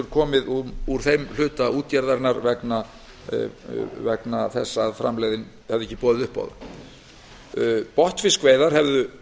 komið úr þeim hluta útgerðarinnar vegna þess að framlegðin hefði ekki boðið upp á það botnfiskveiðar hefðu